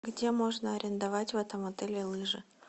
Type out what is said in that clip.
где можно арендовать в этом отеле лыжи